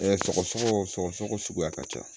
sɔgɔ sɔgɔ suguya ka ca